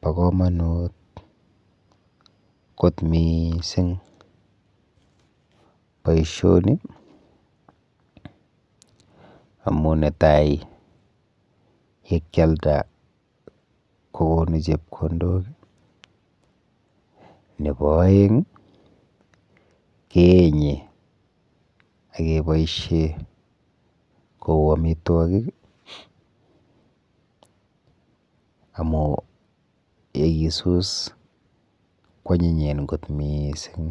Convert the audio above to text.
Po komonut kot miising boishoni amu yekyalda kokonu chepkondok nepo oeng keenye ekeboishe kou amitwokik amu yekisus kwonyinyen kot mising.